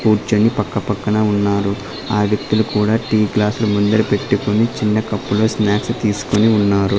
కూర్చొని పక్కపక్కన ఉన్నారు ఆ వ్యక్తులు కూడా టీ గ్లాసులు ముందర పెట్టుకొని చిన్న కప్పులో స్నాక్స్ తీసుకొని ఉన్నారు.